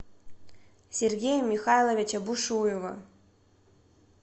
сергея михайловича бушуева